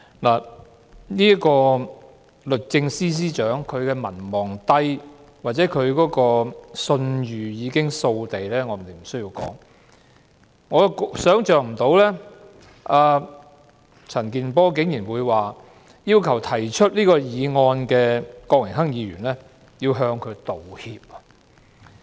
律政司司長民望低或信譽掃地，我也不必多說，但我想不到陳健波議員竟然要求提出這項議案的郭榮鏗議員向鄭若驊道歉。